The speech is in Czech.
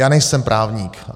Já nejsem právník.